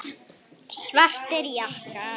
Svartir jakkar.